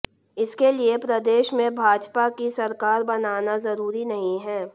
इसके लिये प्रदेश में भाजपा की सरकार बनना जरुरी नहीं है